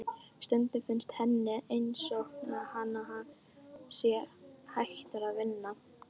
Stundum finnst henni einsog hann sé hættur að vinna.